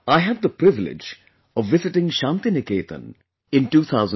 I had the privilege of visiting Shanti Niketan in 2018